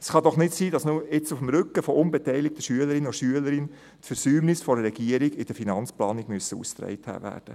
Es kann doch nicht sein, dass jetzt auf dem Rücken unbeteiligter Schülerinnen und Schüler die Versäumnisse der Regierung in der Finanzplanung ausgetragen werden.